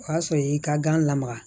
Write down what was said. O y'a sɔrɔ i y'i ka gan lamaga